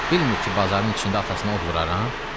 Bilmir ki, bazarın içində atasına od vuraram?